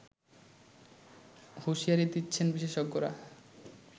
হুঁশিয়ারি দিচ্ছেন বিশেষজ্ঞরা